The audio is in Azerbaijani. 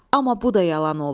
Amma bu da yalan oldu.